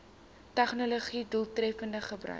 tegnologië doeltreffend gebruik